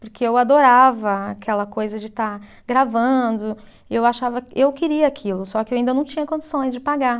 Porque eu adorava aquela coisa de estar gravando, e eu achava, eu queria aquilo, só que eu ainda não tinha condições de pagar.